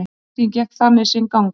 Vertíðin gekk þannig sinn gang.